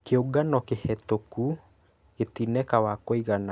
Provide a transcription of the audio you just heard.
Kĩũngano kĩhetũku gĩtineka wa kũigana